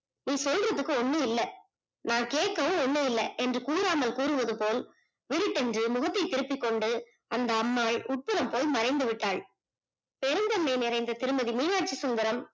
நீ சொல்லுவதற்க்கு ஒண்ணும் இல்லை நான் கேக்கவும் ஒண்ணும் இல்லை என்று கூறாமல் கூறுவது போல் விருட்டெண்டு முகத்தை திருப்பி கொண்டு அந்த அம்மாள் உக்கரம் போல் மறைந்து விட்டால் பெருந்தன்மை நிறைந்த திருமதி மீனாச்சிசுந்தரம்